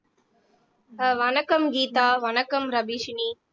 அஹ் வணக்கம் கீதா வணக்கம் ரபிஷினி